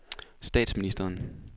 statsministeren